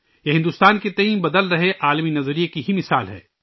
یہ بھارت کے لئے بدلتے ہوئے عالمی نقطہ نظر کی ایک مثال ہے